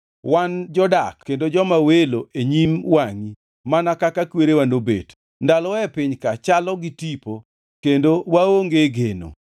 Wan jodak kendo joma welo e nyim wangʼi, mana kaka kwerewa nobet. Ndalowa e piny ka chalo gi tipo, kendo waonge geno.